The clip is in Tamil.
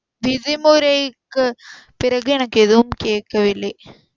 விடுமுறைக்குப் பிறகு எனக்கு எதுவும் கேட்கவில்லை.